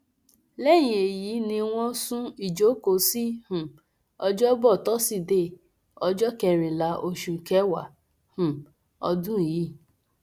lẹyìn èyí ni wọn sún ìjókòó sí um ọjọbọ tọsídẹẹ ọjọ kẹrìnlá oṣù kẹwàá um ọdún yìí